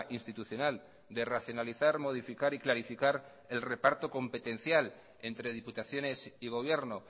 institucional de racionalizar modificar y clarificar el reparto competencial entre diputaciones y gobierno